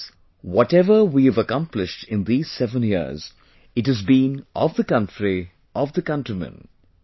Friends, whatever we have accomplished in these 7 years, it has been of the country, of the countrymen